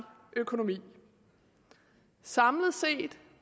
økonomi samlet set